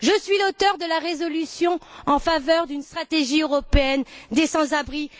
Je suis l'auteur de la résolution en faveur d'une stratégie européenne des sans abris.